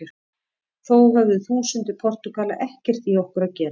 Þó höfðu þúsundir Portúgala ekkert í okkur að gera.